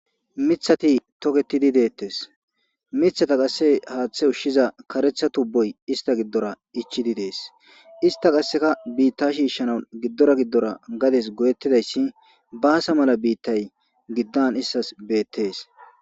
mithati toketidi deettes mithata qasse haaththe ushshiza karetha tubboy ista giddora ichidi dees ista qasseka biitta shiishshanan giddora giddora gades goyettidayssi baasa mala biittay giddan istas beettees